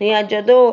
ਣਿਆ ਜਦੋਂ